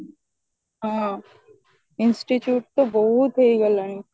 ହଁ institute ତ ବହୁତ ହେଇଗଲାଣି